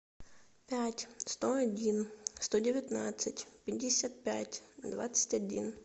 пять сто один сто девятнадцать пятьдесят пять двадцать один